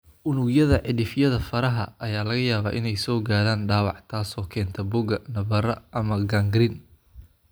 Unugyada cidhifyada faraha ayaa laga yaabaa inay soo gaadhaan dhaawac, taasoo keenta boogo, nabarro, ama gangrene.